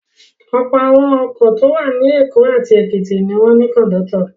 Ọ̀pọ̀ àwọn ọkọ̀ tó wà ní Èkó àti Èkìtì ni wọ́n ní kọ̀ńdọ́tọ̀.